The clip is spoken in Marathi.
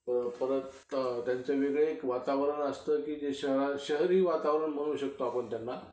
तर परत त्यांचं वेगळं एक वातावरण असतं कि जे शहरी वातावरण म्हणू शकतो आपण त्याला.